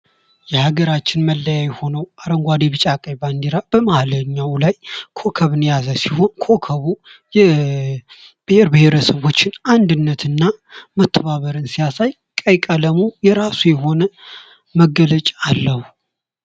የሀገራችን መለያየ ሆነው አረንጓዴ፣ ቢጫ፣ ቀይ ባንድራ በመሃለኛው ላይ ኮከብን የያዘውን ኮከቡ የብሔር ብሔረሰቦችን አንድነትና መተባበርን ሲያሳይ ቀይ ቀለሙ የራስ የሆነ መገለጫ አለው።